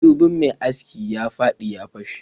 madubin mai aski ya fadi ya fashe